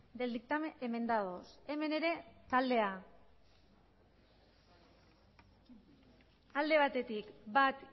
del dictamen enmendados hemen ere taldea alde batetik bat